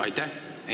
Aitäh!